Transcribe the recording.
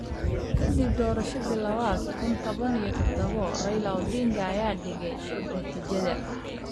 Kadib doorashadii lawada kuun toban iyo todabo, Raila Odinga ayaa diiday natiijada.